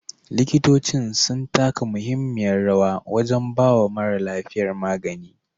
Likitocin sun taka mahimmiyar rawa wajan bawa mara lafiya magani